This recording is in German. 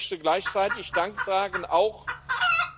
Ich möchte gleichzeitig auch